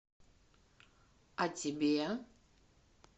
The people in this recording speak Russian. а тебе